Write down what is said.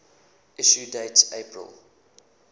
issue date april